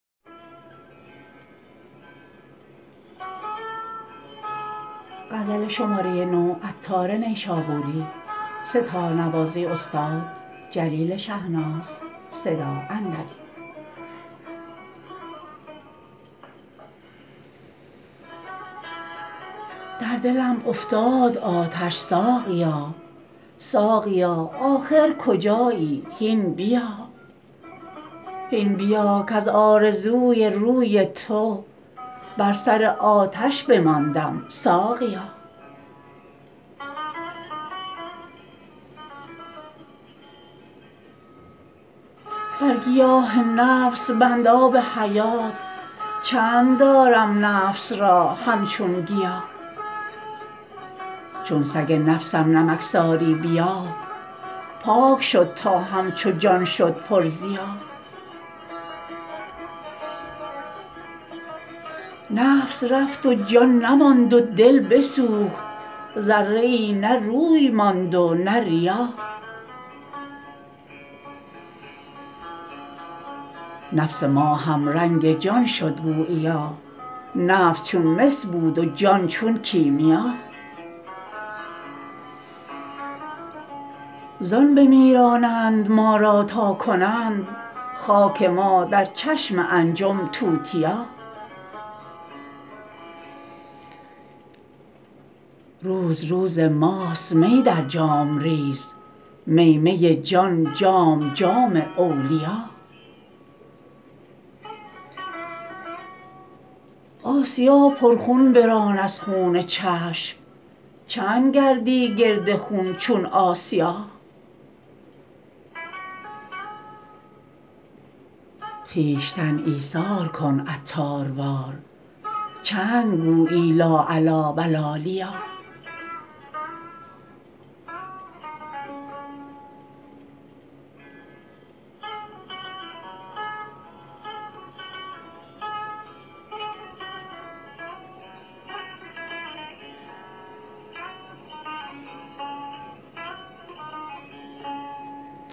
در دلم افتاد آتش ساقیا ساقیا آخر کجایی هین بیا هین بیا کز آرزوی روی تو بر سر آتش بماندم ساقیا بر گیاه نفس بند آب حیات چند دارم نفس را همچون گیا چون سگ نفسم نمکساری بیافت پاک شد تا همچو جان شد پر ضیا نفس رفت و جان نماند و دل بسوخت ذره ای نه روی ماند و نه ریا نفس ما هم رنگ جان شد گوییا نفس چون مس بود و جان چون کیمیا زان بمیرانند ما را تا کنند خاک ما در چشم انجم توتیا روز روز ماست می در جام ریز می می جان جام جام اولیا آسیا پر خون بران از خون چشم چند گردی گرد خون چون آسیا خویشتن ایثار کن عطار وار چند گویی لا علی و لا لیا